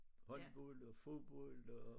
Håndbold og fodbold og